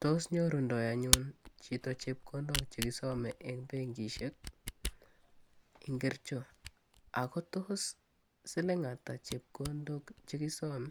Tos nyorundoi anyun chito chepkondok che kisome eng benkisiek ngiricho? Ako tos siling atak chepkondok che kisome